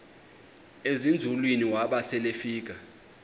ezinzulwini waba selefika